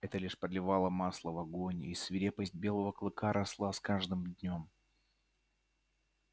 это лишь подливало масла в огонь и свирепость белого клыка росла с каждым днём